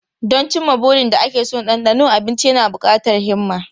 Don cimma burin da ake so da dandano abinci yana buƙatar himma.